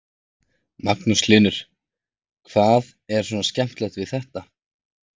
Magnús Hlynur: Hvað er svona skemmtilegt við þetta?